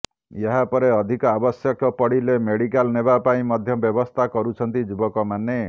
ଏହାପରେ ଅଧିକ ଆବଶ୍ୟକ ପଡିଲେ ମେଡିକାଲ ନେବା ପାଇଁ ମଧ୍ୟ ବ୍ୟବସ୍ଥା କରୁଛନ୍ତି ଯୁବକ ମାନେ